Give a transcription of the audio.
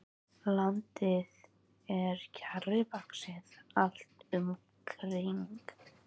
Landið er kjarrivaxið allt um kring.